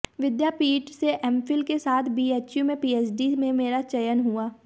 विद्यापीठ से एमफिल के साथ बीएचयू में पीएचडी में मेरा चयन हुआ